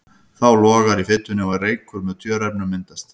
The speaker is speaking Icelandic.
Þá logar í fitunni og reykur með tjöruefnum myndast.